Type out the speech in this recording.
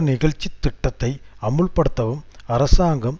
நிகழ்ச்சி திட்டத்தை அமுல்படுத்தவும் அரசாங்கம்